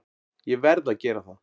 Ég verð að gera það.